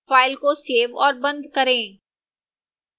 file को save और बंद करें